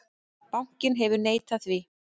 Bankinn hefur neitað því.